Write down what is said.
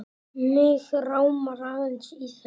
Mig rámar aðeins í þetta.